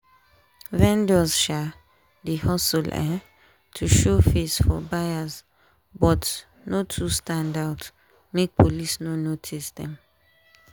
vendors um dey hustle um to show face for buyers but no too stand out make police no notice them.